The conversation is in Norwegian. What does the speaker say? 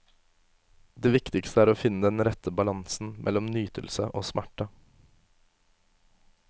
Det viktigste er å finne den rette balansen mellom nytelse og smerte.